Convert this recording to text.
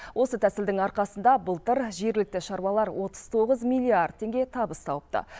осы тәсілдің арқасында былтыр жергілікті шаруалар отыз тоғыз миллиард теңге табыс тауыпты